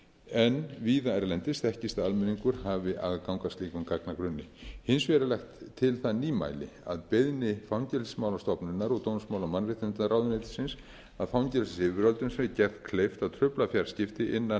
en víða erlendis þekkist að almenningur hafi aðgang að slíkum gagnagrunni hins vegar er lagt til það nýmæli að beiðni fangelsismálastofnunar og dómsmála og mannréttindaráðuneytis að fangelsisyfirvöldum sé gert kleift að trufla fjarskipti innan